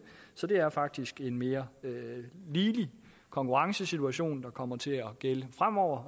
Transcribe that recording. så det faktisk er en mere ligelig konkurrencesituation der kommer til at gælde fremover